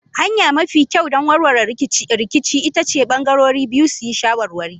Hanya mafi kyau don warware rikici ita ce bangarorin biyu su yi shawarwari.